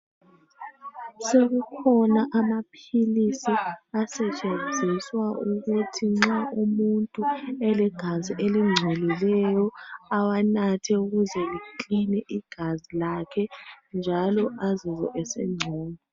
Sekukhona amaphilisi, asetshenziswa ukuthi nxa umuntu elegazi elingcolileyo awanathe. Ukuze likline igazi lakhe njalo azizwe esengcono.